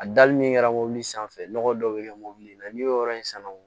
A dali min kɛra mobili sanfɛ nɔgɔ dɔw bɛ kɛ mɔbili la n'i y'o yɔrɔ in san